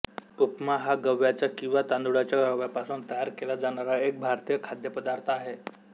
उपमा हा गव्हाच्या किंवा तांदुळाच्या रव्यापासून तयार केला जाणारा एक भारतीय खाद्यपदार्थ आहे